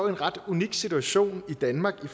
en ret unik situation i danmark i